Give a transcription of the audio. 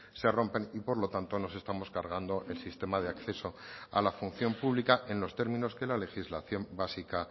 se rompen y por lo tanto nos estamos cargando el sistema de acceso a la función pública en los términos que la legislación básica